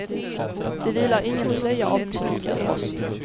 Det vilar ingen slöja av mystik över oss.